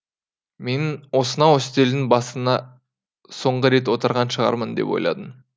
мен осынау үстелдің басында соңғы рет отырған шығармын деп ойладым